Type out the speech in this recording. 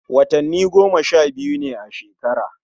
Watanni goma sha biyu ne a shekara